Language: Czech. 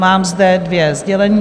Mám zde dvě sdělení.